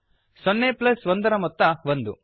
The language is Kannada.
ಸೊನ್ನೆ ಪ್ಲಸ್ ಒಂದರ ಮೊತ್ತ ಒಂದು